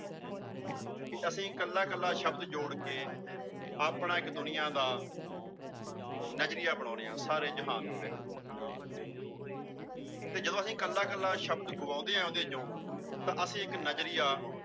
ਕਿ ਅਸੀਂ ਕੱਲਾ ਕੱਲਾ ਸ਼ਬਦ ਜੋੜ ਕੇ ਆਪਣਾ ਇੱਕ ਦੁਨੀਆ ਦਾ ਨਜ਼ਰੀਆ ਬਣਾਉਂਦੇ ਹਾਂ ਸਾਰੇ ਜਹਾਨ ਨੂੰ ਵੇਖਣ ਦਾ ਤੇ ਜਦੋਂ ਅਸੀਂ ਕੱਲਾ ਕੱਲਾ ਸ਼ਬਦ ਗਵਾਉਂਦੇ ਹਾਂ ਉਹਦੇ ਚੋਂ ਤਾਂ ਅਸੀਂ ਇੱਕ ਨਜ਼ਰੀਆ